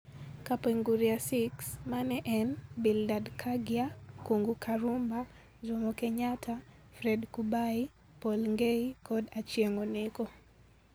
Kapenguria Six mane en, Bildad Kaggia, Kung'u Karumba, Jomo Kenyatta, Fred Kubai, Paul Ngei, kod Achieng' Oneko.